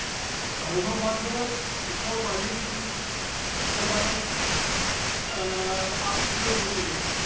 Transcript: Speaker 1 സമൂഹമാധ്യമങ്ങള്‍ ഇപ്പോള്‍ വലിയ രീതിയില്‍ പ്രചാരം ആര്‍ജ്ജിച്ചു വരുന്നുണ്ടല്ലോ.